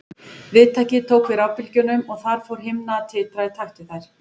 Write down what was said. Viðtækið tók við rafbylgjunum og þar fór himna að titra í takt við þær.